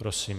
Prosím.